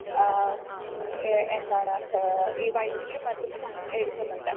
Speaker 1 ആ ഉം ഏ എന്താണ് ഏഹ് ഈ വൈദ്യുതിയും മറ്റും എടുക്കുന്നുണ്ട്.